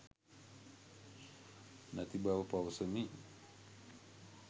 නැති බව පවසමි.